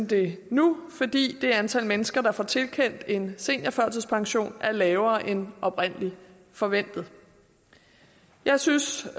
det nu fordi det antal mennesker der får tilkendt en seniorførtidspension er lavere end oprindelig forventet jeg synes